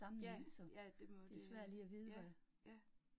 Ja, ja, det må det ja, ja